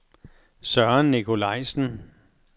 Søren Nikolajsen